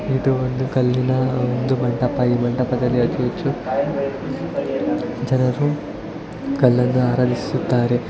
ಇದು ಒಂದು ಕಲ್ಲಿನ ಒಂದು ಮಂಟಪ ಈ ಮಂಟಪದಲ್ಲಿ ಅದು ಇದು ಜನರು ಕಲ್ಲನ್ನು ಆರಳಿಸುತ್ತಾರೆ .